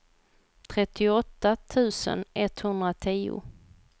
trettioåtta tusen etthundratio